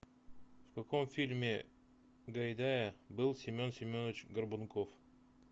в каком фильме гайдая был семен семенович горбунков